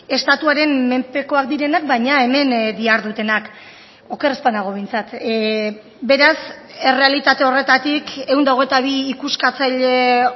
estatuaren menpekoak direnak baina hemen dihardutenak oker ez banago behintzat beraz errealitate horretatik ehun eta hogeita bi ikuskatzaile